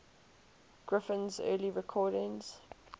griffin's early recordings